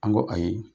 An ko ayi